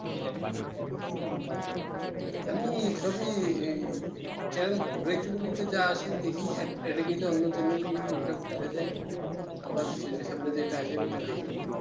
আমি সবই channel ঘুরাইতে ঘুরাইতে যা আসে দেখি Ad এ গেলে অন্য channel এ গেলে ওটা ভুলে যাই আবার চোখের সামনে যেটা আছে ওটা দেখেই